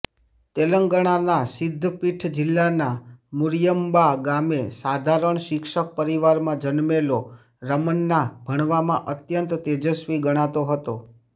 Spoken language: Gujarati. તેલંગણાના સિદ્ધપીઠ જિલ્લાના મુરીયમ્બા ગામે સાધારણ શિક્ષક પરિવારમાં જન્મેલો રામન્ના ભણવામાં અત્યંત તેજસ્વી ગણાતો હતો